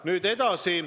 Nüüd edasi.